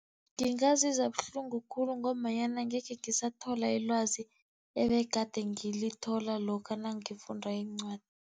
Ngingazizwa buhlungu khulu, ngombanyana angekhe ngisathola ilwazi ebegade ngilithola lokha nangifunda iincwadi.